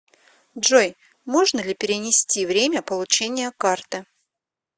джой можно ли перенести время получения карты